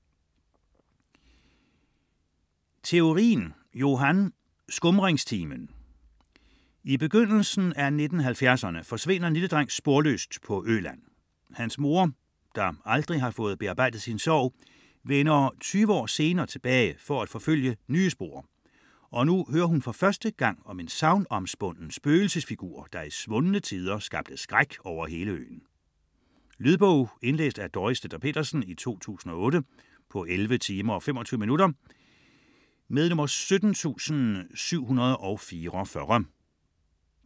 Theorin, Johan: Skumringstimen I begyndelsen af 1970'erne forsvinder en lille dreng sporløst på Øland. Hans mor, der aldrig har fået bearbejdet sin sorg, vender 20 år senere tilbage for at forfølge nye spor, og nu hører hun for første gang om en sagnomspunden spøgelsesfigur, der i svundne tider skabte skræk over hele øen. Lydbog 17744 Indlæst af Dorrit Stender-Pedersen, 2008. Spilletid: 11 timer, 25 minutter.